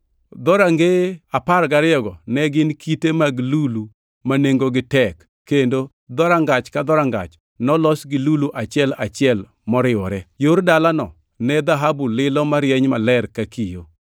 Dhorangeye apar gariyogo ne gin kite mag lulu ma nengogi tek, kendo dhorangach ka dhorangach nolos gi lulu achiel achiel moriwore. Yor dalano ne dhahabu lilo marieny maler ka kio.